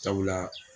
Sabula